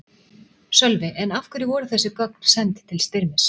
Sölvi: En af hverju voru þessi gögn send til Styrmis?